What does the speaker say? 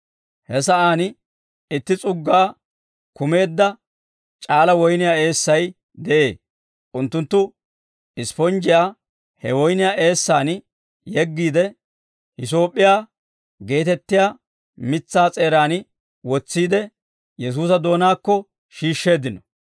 He sa'aan itti s'uggaa kumeedda c'aala woyniyaa eessay de'ee. Unttunttu ispponjjiyaa he woyniyaa eessaan yeggiide, hisoop'p'iyaa geetettiyaa mitsaa s'eeraan wotsiide, Yesuusa doonaakko shiishsheeddino.